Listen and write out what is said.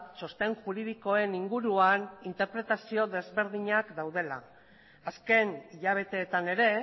txosten juridikoen inguruan interpretazio desberdinak daudela azken hilabeteetan ere